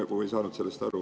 Ma ei saanud sellest aru.